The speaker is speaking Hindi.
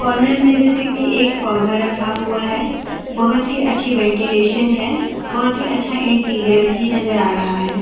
कॉर्नर में जैसे की एक पौधा रखा हुआ है बहुत ही अच्छी वेनटीलेशन है बहुत ही अच्छा इंटीरियर भी नज़र आ रहा है।